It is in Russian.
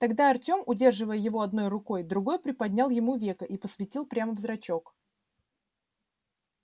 тогда артём удерживая его одной рукой другой приподнял ему веко и посветил прямо в зрачок